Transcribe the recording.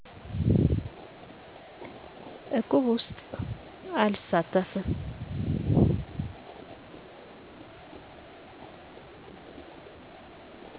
እቁብ ውስጥ አልሳተፍም